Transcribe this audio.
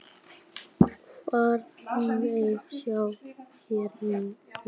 Faðmlag sjávar hvorki kalt né heitt.